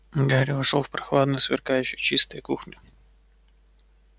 гарри вошёл в прохладную сверкающую чистой кухню